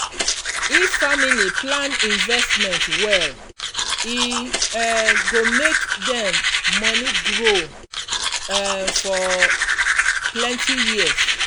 if family plan investment well e um go make dem money grow um for plenty years.